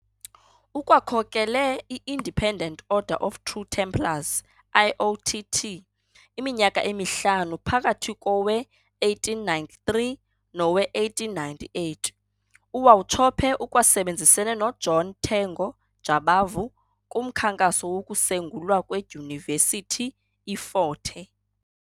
Ukwakhokele i-Independent Order of True Templars, IOTT, iminyaka emihlanu phakathi kowe-1893 nowe 1898. uWauchope ukwasebenzisene no"John Tengo Jabavu" kumkhankaso wokusengulwa kweDyunivesithi i"Fort Hare".